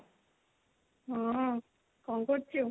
ହଁ କଣ କରୁଛୁ?